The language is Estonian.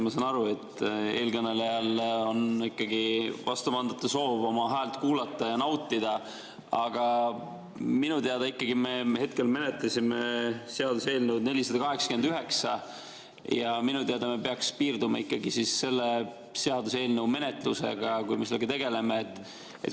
Ma saan aru, et eelkõnelejal on vastupandamatu soov oma häält kuulata ja nautida, aga minu teada me hetkel menetleme seaduseelnõu 489 ja minu teada peaks piirduma ikkagi selle seaduseelnõu menetlusega, millega parajasti tegeletakse.